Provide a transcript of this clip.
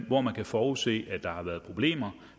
hvor man kan forudse der har været problemer